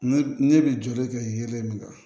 Ne ne bɛ joli kɛ yelen min kan